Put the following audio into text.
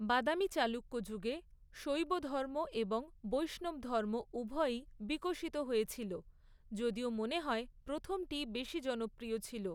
বাদামি চালুক্য যুগে শৈবধর্ম এবং বৈষ্ণবধর্ম উভয়ই বিকশিত হয়েছিল, যদিও মনে হয় প্রথমটিই বেশি জনপ্রিয় ছিল।